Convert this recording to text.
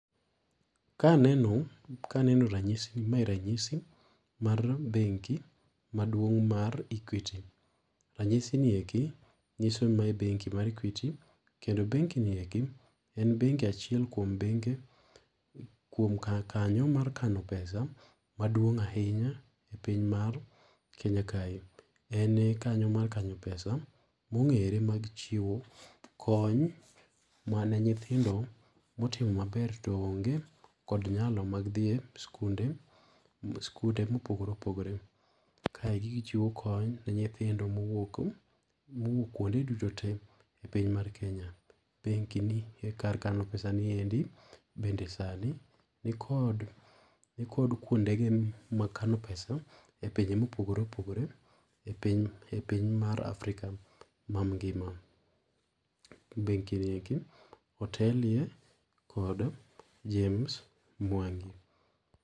Ka aneno, ka aneno ranyisi ni, mae ranyisi mar benki maduong' mar Equity. Ranyisi ni eki nyiso ni mae benki mar Equity kendo[cs benki ni eki en benki achiel kuom benke kuom ka kanyo mar kano pesa maduong' ahinya epiny mar Kenya kae. En kanyo mar kanyo pesa mong'ere mag chiwo kony mane nyithindo motimo maber to oonge kod nyalo mag dhie e skunde skunde mopogore opogore . Kae gi chiwo kony ne nyithindo mowuok, mowuok kuonde duto te e piny mar kenya. Benki ni e kar kano pesa ni endi bende sani nikod ni kod kuonde ge mag kano pesa e pinje mopogore opogore e piny, epiny mar Afrika mangima. Benki ni eki otelie kod James Mwangi.